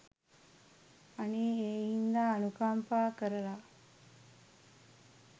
අනේ ඒ හින්දා අනුකම්පා කරලා